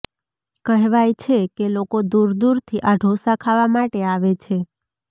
કહેવાય છે કે લોકો દૂર દૂરથી આ ઢોંસા ખાવા માટે આવે છે